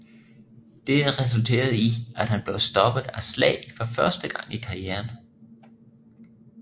Dette resulterede i at han blev stoppet af slag for første gang i karrieren